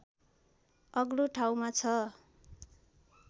अग्लो ठाउँमा छ